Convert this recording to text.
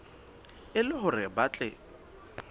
e le hore ba tle